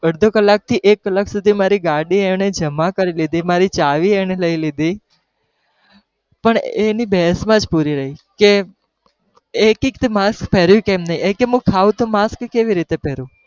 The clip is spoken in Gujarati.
અડધો કલાક થી એક કલાક સુધી એને મારી ગાડી એને જમા કરી લીધી, મારી ચાવી એને લઇ લીધી, પણ એ એની બહેસ માં પુરી રહી કે એક કહે તે mask પહેરીયું કેમ નહી? એ કે હું ખાઉં તો માસ્ક કેવી રીતે પહેરું?